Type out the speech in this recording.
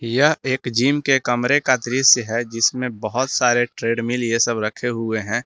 यह एक जिम के कमरे का दृश्य है जिसमें बहुत सारे ट्रेडमिल ये सब रखे हुए हैं।